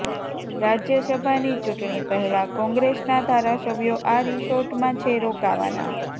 રાજ્યસભાની ચૂંટણી પહેલા કોંગ્રેસના ધારાસભ્યો આ રિસોર્ટમાં છે રોકાવાના